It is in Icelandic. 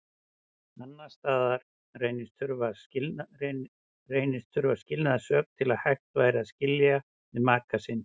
Annars staðar reynist þurfa skilnaðarsök til að hægt væri að skilja við maka sinn.